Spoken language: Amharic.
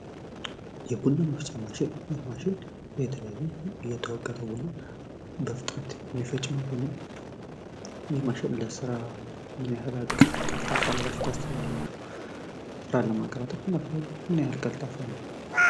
የቡና መፍጫ ማሽን ይህ ማሽን የተለያይ የተወቀጠ ቡና በፍጥነት የሚፈጭ ማሽን ነው። ይህ ማሽን ምን ያክል ለስራ ምን ያክል ቀልጣፋ ነው ብላችሁ ታስባላችሁ ስራ ለማቀላጠፍ ምን ያክል ቀልጣፋ ነው?